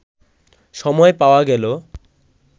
সময় পাওয়া গেল